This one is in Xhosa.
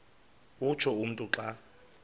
utsho umntu xa